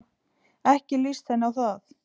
Ekki líst henni á það.